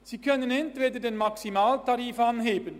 Sie können entweder den Maximaltarif anheben;